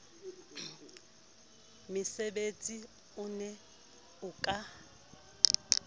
metsebetsi o ne o ka